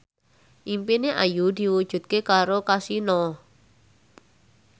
impine Ayu diwujudke karo Kasino